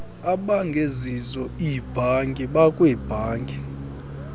abangezizo iibhanki nakwiibhanki